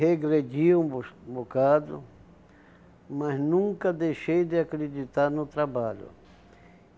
Regredi um bus bocado, mas nunca deixei de acreditar no trabalho.